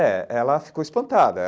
É, ela ficou espantada.